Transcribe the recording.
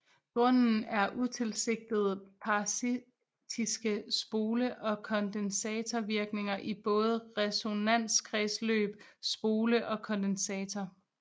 Grunden er utilsigtede parasitiske spole og kondensator virkninger i både resonanskredsløb spole og kondensator